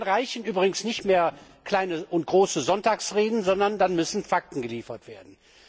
Dann reichen übrigens nicht mehr kleine und große Sonntagsreden, sondern dann müssen Fakten geliefert werden.